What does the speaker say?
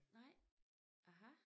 Nej aha